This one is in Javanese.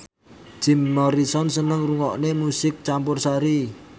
Jim Morrison seneng ngrungokne musik campursari